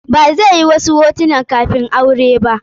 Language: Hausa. Ba zai yi wasu hotunan kafin aure ba.